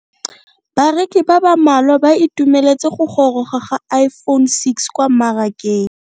Bareki ba ba malwa ba ituemeletse go goroga ga Iphone6 kwa mmarakeng.